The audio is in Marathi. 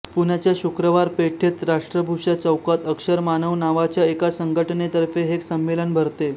पुण्याच्या शुक्रवार पेठेत राष्ट्रभूषा चौकात अक्षर मानव नावाच्या एका संघटनेतर्फे हे संमेलन भरते